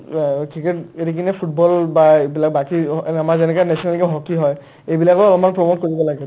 উম্, অ cricket এৰি কিনে football বা এইবিলাক বাকী অ' আমাৰ যেনেকে national game hockey হয় এইবিলাকক আমাৰ promote কৰিব লাগে